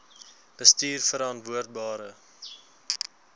bestuurverantwoordbare